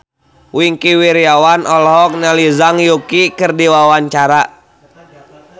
Wingky Wiryawan olohok ningali Zhang Yuqi keur diwawancara